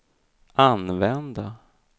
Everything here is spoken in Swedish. använda